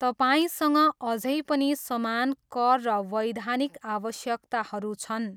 तपाईँसँग अझै पनि समान कर र वैधानिक आवश्यकताहरू छन्।